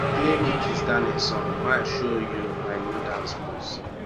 play me kizz daniel song may I show you my new dance moves